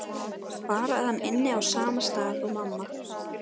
Bara að hann ynni á sama stað og mamma.